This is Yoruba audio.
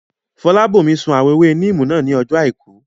Fọlábòmí sun àwọn ewé níìmù náà ní ọjọ́ àìkú